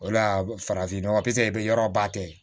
O la farafinɔgɔ psp i bɛ yɔrɔba tigɛ